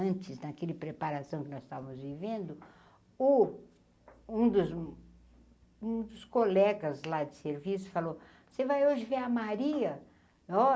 Antes, naquele preparação que nós estávamos vivendo, o um dos um dos colegas lá de serviço falou, você vai hoje ver a Maria?